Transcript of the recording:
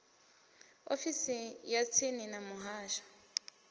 ofisi ya tsini ya muhasho